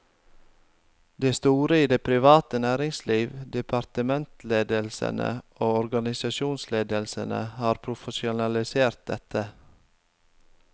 De store i det private næringsliv, departementsledelsene og organisasjonsledelsene har profesjonalisert dette.